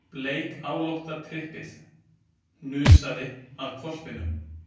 Bleikálótta tryppið hnusaði að hvolpinum.